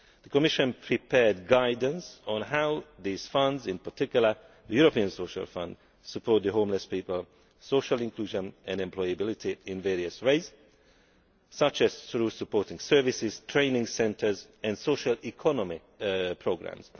The Commission has prepared guidelines on how these funds in particular the European Social Fund support homeless people, social inclusion and employability in various ways, such as through support services, training centres and socio economic programmes.